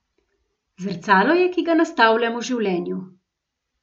Zrcalo je, ki ga nastavljamo življenju.